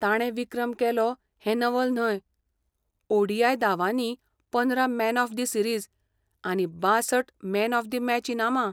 ताणें विक्रम केलो हें नवल न्हय, ओ. डी. आय. दावांनी पंदरा मॅन ऑफ द सिरीझ आनी बांसठ मॅन ऑफ द मॅच इनामां.